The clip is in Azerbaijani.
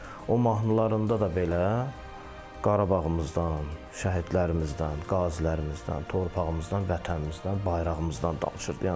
O mahnılarında da belə Qarabağımızdan, şəhidlərimizdən, qazilərimizdən, torpağımızdan, vətənimizdən, bayrağımızdan danışırdı.